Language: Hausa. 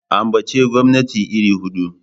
Ambaci gwamnati iri hudu!